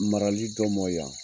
Marali dɔ mɔ yan